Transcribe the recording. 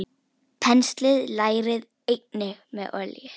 Penslið lærið einnig með olíu.